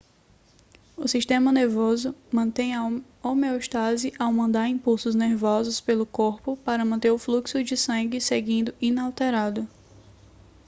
o sistema nervoso mantém a homeostase ao mandar impulsos nervosos pelo corpo para manter o fluxo de sangue seguindo inalterado